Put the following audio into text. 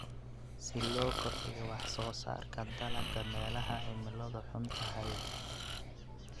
Si loo kordhiyo wax soo saarka dalagga meelaha cimilodu xun tahay.